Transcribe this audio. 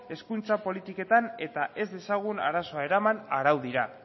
hezkuntza politiketan eta ez dezagun arazoa eraman araudira